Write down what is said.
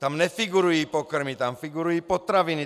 Tam nefigurují pokrmy, tam figurují potraviny.